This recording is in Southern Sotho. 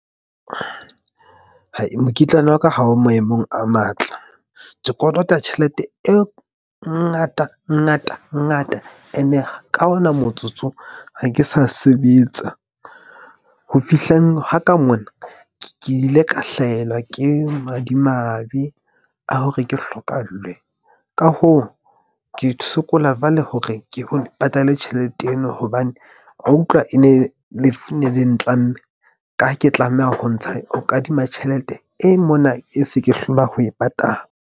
Mokitlane wa ka ha o maemong a matle. Ke kolota tjhelete e ngata, ngata ngata and-e ka ona motsotso. Ha ke sa sebetsa, ho fihleng ha ka mona ke ile ka hlahelwa ke madimabe a hore ke hlokahallwe. Ka hoo, ke sokola jwale hore ke ho patale tjhelete ena, hobane wa utlwa e ne le lefu ne le ntlamme ka ha ke tlameha ho ntsha ho kadima tjhelete e mona, e se ke hlola ho e patala.